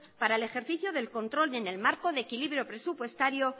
para el ejercicio del control en el marco de equilibrio presupuestario